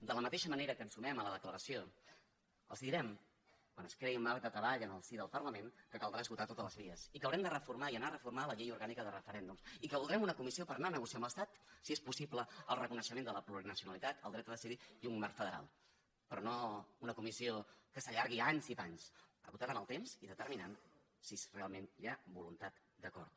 de la mateixa manera que ens sumem a la declaració els direm quan es creï un marc de treball en el si del parlament que caldrà esgotar totes les vies i que haurem de reformar i anar a reformar la llei orgànica de referèndums i que voldrem una comissió per anar a negociar amb l’estat si és possible el reconeixement de la plurinacionalitat el dret a decidir i un marc federal però no una comissió que s’allargui anys i panys acotada en el temps i determinant si realment hi ha voluntat d’acord